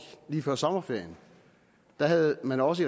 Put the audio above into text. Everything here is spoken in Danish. lige før sommerferien havde man også